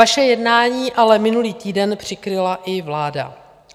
Vaše jednání ale minulý týden přikryla i vláda.